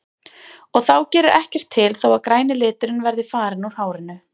Og þá gerir ekkert til þó að græni liturinn verði farinn úr hárinu.